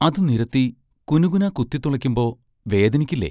അതു നിരത്തി കുനുകുനാ കുത്തിത്തുളക്കുമ്പോൾ വേദനിക്കില്ലേ?